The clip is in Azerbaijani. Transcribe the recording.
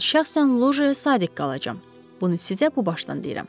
Mən şəxsən lojaya sadiq qalacam, bunu sizə bu başdan deyirəm.